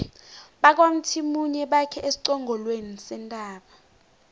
bakwamthimunye bakhe esiqongolweni sentaba